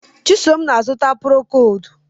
Chisom na-azụta prokodu